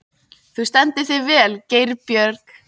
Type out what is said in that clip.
Þú stendur þig vel, Geirbjörg!